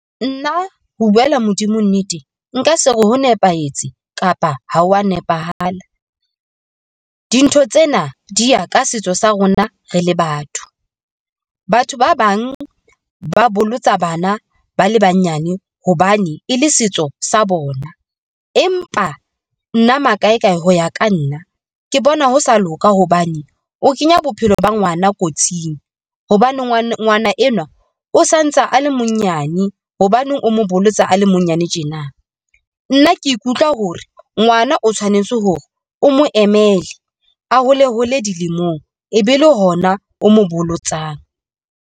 Nna ho buela Modimo nnete nka se re ho nepahetse kapa ho wa nepahala. Dintho tsena di ya ka setso sa rona, re le batho. Batho ba bang ba bolotsa bana ba le banyane hobane e le setso sa bona. Empa nna makae kae ho ya ka nna ke bona ho sa loka hobane o kenya bophelo ba ngwana kotsing hobane ngwana enwa o santsa a le monyane ho baneng o mo bolotsa a le monyane tjena. Nna ke ikutlwa hore ngwana o tshwanetse hore o mo emele a hole hole dilemong, e be le hona o mo bolotsang.